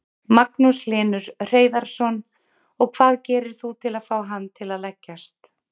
Magnús Hlynur Hreiðarsson: Og hvað gerir þú til að fá hann til að leggjast?